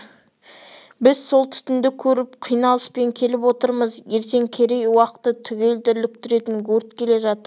біз сол түтінді көріп қиналыспен келіп отырмыз ертең керей уақты түгел дүрліктіретін өрт келе жатыр